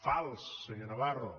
fals senyor navarro